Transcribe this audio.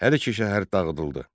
Hər iki şəhər dağıdıldı.